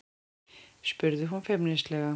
spurði hún feimnislega.